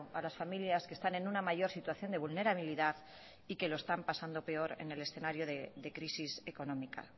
a las familias que están en una mayor situación de vulnerabilidad y que lo están pasando peor en el escenario de crisis económica